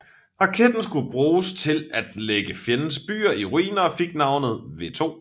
Raketten skulle bruges til at lægge fjendens byer i ruiner og fik navnet V2